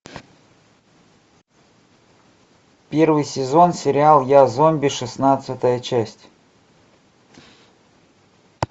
первый сезон сериал я зомби шестнадцатая часть